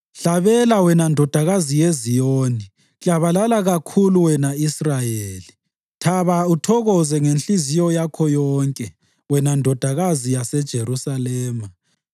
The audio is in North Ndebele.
Hlabela wena Ndodakazi yeZiyoni, klabalala kakhulu, wena Israyeli! Thaba uthokoze ngenhliziyo yakho yonke wena ndodakazi yaseJerusalema!